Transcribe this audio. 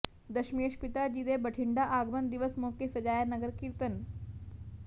ਦਸਮੇਸ਼ ਪਿਤਾ ਜੀ ਦੇ ਬਠਿੰਡਾ ਆਗਮਨ ਦਿਵਸ ਮੌਕੇ ਸਜਾਇਆ ਨਗਰ ਕੀਰਤਨ